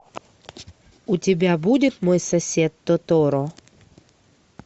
у тебя будет мой сосед тоторо